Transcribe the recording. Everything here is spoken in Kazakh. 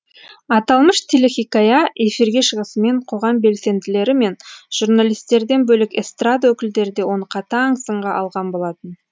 аталмыш телехикая эфирге шығысымен қоғам белсенділері мен журналистерден бөлек эстрада өкілдері де оны қатаң сынға алған болатын